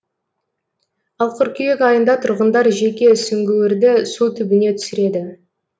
ал қыркүйек айында тұрғындар жеке сүңгуірді су түбіне түсіреді